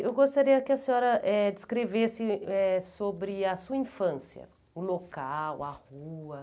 Eu gostaria que a senhora eh descrevesse eh sobre a sua infância, o local, a rua.